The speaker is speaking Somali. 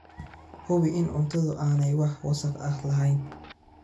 Hubi in cuntadu aanay wax wasakh ah lahayn.